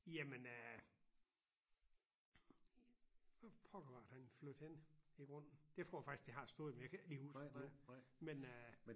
Jamen øh pokker var det han flyttede hen i grunden det tror jeg faktisk det har stået men jeg kan ikke lige huske det nu men øh